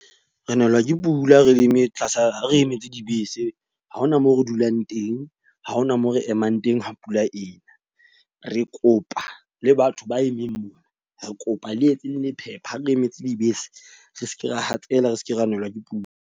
Re nelwa ke pula, re leme tlasa ha re emetse dibese. Ha hona moo re dulang teng. Ha hona moo re emang teng ha pula ena. Re kopa le batho ba emeng mona. Re kopa le etse le lephepha ha re emetse dibese. Re seke ra hatsela, re seke ra nelwa ke pula.